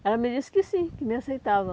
Ela me disse que sim, que me aceitava.